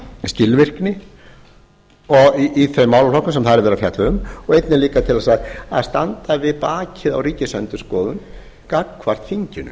skilvirkni í þeim málaflokkum sem þar er verið að fjalla um og einnig líka til þess að standa við bakið á ríkisendurskoðun gagnvart þinginu